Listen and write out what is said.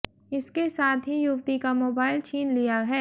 इसके साथ ही युवती का मोबाइल छिन लिया है